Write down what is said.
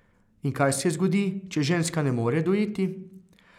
In kaj se zgodi, če ženska ne more dojiti?